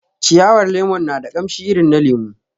Ciyawar lemon na da kamshi irin na lemu